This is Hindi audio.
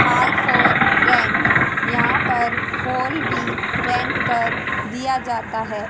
हॉल फॉर रेंट यहां पर हॉल भी रेंट पर दिया जाता है।